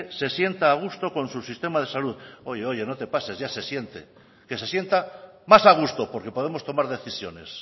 se sienta a gusto con su sistema de salud oye oye no te pases ya se siente que se sienta más a gusto porque podamos tomar decisiones